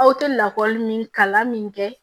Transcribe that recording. Aw tɛ lakɔli min kalan min kɛ